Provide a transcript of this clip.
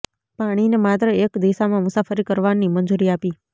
પાણીને માત્ર એક દિશામાં મુસાફરી કરવાની મંજૂરી આપી